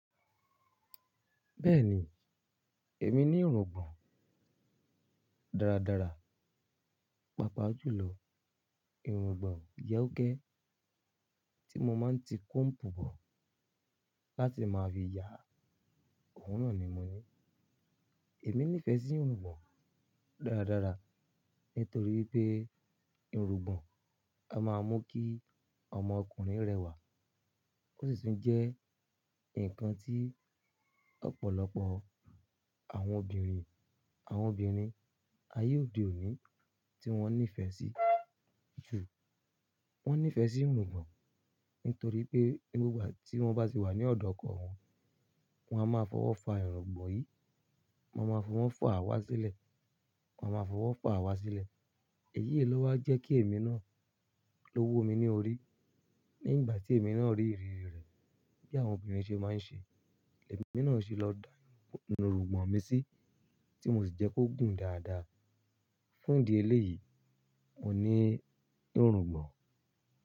Bẹ́ẹ̀ni, èmi ní irùngbọ̀n dáradára, pàápàá jùlọ irùngbọ̀n yẹ́úké tí mo máa ń ti kọ́ǹpù bọ̀ láti máa fi ya. Òórùn náà ni mo ní. Èmi nífẹ̀ẹ́ sí irùngbọ̀n dáradára nítorí pé irùngbọ̀n a máa mú kí ọmọ ọkùnrin rẹwà, ó sì tún jẹ́ ǹkan tí ọ̀pọ̀lọpọ̀ àwọn obìnrin, àwọn obìnrin ayé òde òní tí wọ́n nífẹ̀ẹ́ sí jù. Wọ́n nífẹ̀ẹ́ sí irùngbọ̀n nítorí pé ní gbogbo ìgbà tí wọ́n bá sì wà ní ọ̀dọ̀ ọkọ wọn, wọn a máa fọwọ́ fa irùngbọ̀n yìí, wọn a máa fún wọn faàwá sílẹ̀, wọn a máa fọwọ́ faàwá sílẹ̀. Ẹ̀yí lọ́wọ́ jẹ́ kí èmi náà lówu mi ní orí. Ní ìgbà tí èmi náà rí ìrírí rẹ̀ bí àwọn obìnrin ṣe máa ń ṣe, èmi náà sì lọ da irùngbọ̀n mi sí tí mo sì jẹ́ kó gùn dáadáa. Fún ìdí eléyìí, mo ní irùngbọ̀n.